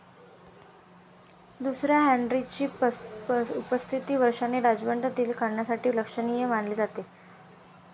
दुसऱ्या हेनरीची पस्तीस वर्षाची राजवट तीन कारणांसाठी लक्षणीय मानली जाते.